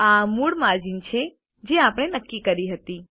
આ મૂળ માર્જીન છે જે આપણે નક્કી કર્યી હતી